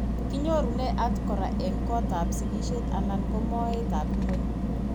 Kinyorune atkan kora eng' kotab sigishet anan ko moetab ng'weny.